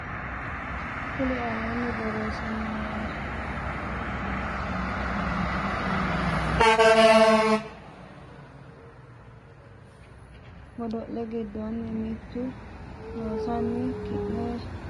kuri aleenni borreessinoommo godo le giddonni mitte Loossinanni ki nera baxissanno neta doorre kuri aleenni borreessinoommo kuri aleenni borreessinoommo godo.